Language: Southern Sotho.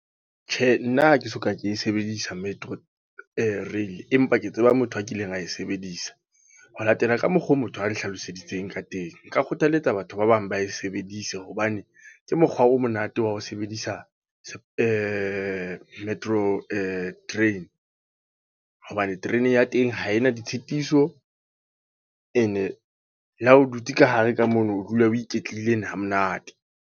Tjhe, nna ha ke soka ke sebedisa Metro rail. Empa ke tseba motho a kileng a e sebedisa. Ho latela ka mokgwa oo motho a nhlaloseditseng ka teng. Nka kgothaletsa batho ba bang ba e sebedise. Hobane, ke mokgwa o monate wa ho sebedisa Metro train. Hobane terene ya teng ha e na ditshitiso. E ne le ha o dutse ka hare ka mono, o dula o iketlile e ne ha monate.